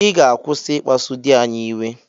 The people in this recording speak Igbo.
Ị ga-akwụsị ịkpasu di anyị iwe.